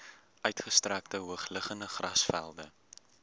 uitgestrekte hoogliggende grasvelde